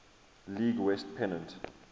league west pennant